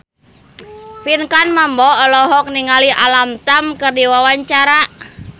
Pinkan Mambo olohok ningali Alam Tam keur diwawancara